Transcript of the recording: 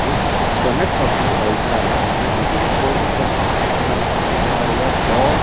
जोकि कनक ऑटोमोबाइल्स का है जैसे कि हम बोर्ड में पढ़ सकते हैं यहां पे लिखा हुआ है बॉ--